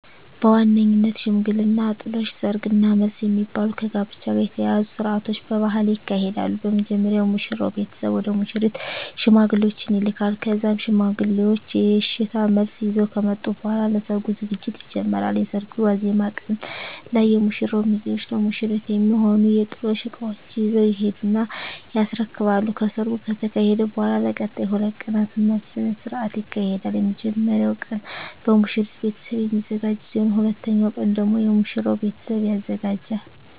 በዋነኝነት ሽምግልና፣ ጥሎሽ፣ ሰርግ እና መልስ የሚባሉ ከጋብቻ ጋር የተያያዙ ስርአቶች በባህሌ ይካሄዳሉ። በመጀመሪያ የሙሽራው ቤተሰብ ወደ ሙሽሪት ሽማግሌዎችን ይልካል ከዛም ሽማግሌዎቹ የእሽታ መልስ ይዘው ከመጡ በኃላ ለሰርጉ ዝግጅት ይጀመራል። የሰርጉ ዋዜማ ቀን ላይ የሙሽራው ሚዜዎች ለሙሽሪት የሚሆኑ የጥሎሽ እቃዎችን ይዘው ይሄዱና ያስረክባሉ። ከሰርጉ ከተካሄደ በኃላም ለቀጣይ 2 ቀናት መልስ ስነ ስርዓት ይካሄዳል። የመጀመሪያው ቀን በሙሽሪት ቤተሰብ የሚዘጋጅ ሲሆን ሁለተኛው ቀን ደግሞ የሙሽራው ቤተሰብ ያዘጋጃል።